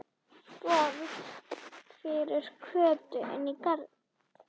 Borg fyrir Kötu inní garði.